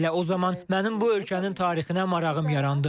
Elə o zaman mənim bu ölkənin tarixinə marağım yarandı.